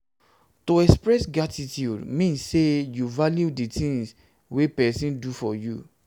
to express gratitude de mean say you value di thing wey persin do for you